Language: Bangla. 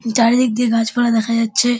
চারিদিক দিয়ে গাছ পালা দেখা যাচ্ছে।